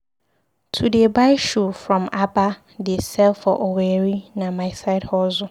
To dey buy shoe from Aba dey sell for Owerri na my side hustle.